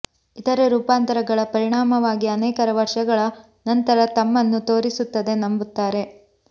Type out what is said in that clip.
ಇತರೆ ರೂಪಾಂತರಗಳ ಪರಿಣಾಮವಾಗಿ ಅನೇಕರ ವರ್ಷಗಳ ನಂತರ ತಮ್ಮನ್ನು ತೋರಿಸುತ್ತದೆ ನಂಬುತ್ತಾರೆ